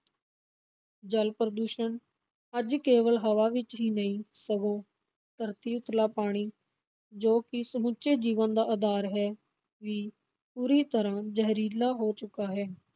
ਜਲ-ਪ੍ਰਦਸ਼ਣ, ਅੱਜ ਕੇਵਲ ਹਵਾ ਹੀ ਨਹੀਂ, ਸਗੋਂ ਧਰਤੀ ਉਤਲਾ ਪਾਣੀ, ਜੋ ਕਿ ਸਮੁੱਚੇ ਜੀਵਨ ਦਾ ਆਧਾਰ ਹੈ ਵੀ ਬੁਰੀ ਤਰਾਂ ਜਹਿਰੀਲਾ ਹੋ ਚੁੱਕਾ ਹੈ।